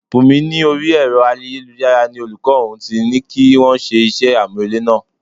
Bunmi ní orí Ẹ̀rọ ayélujára ni olùkọ́ òun ti ní kí wọ́n ṣe iṣẹ́ amurele náà.